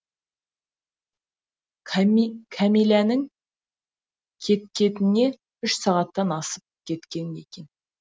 кәмиләнің кеткеніне үш сағаттан асып кеткен екен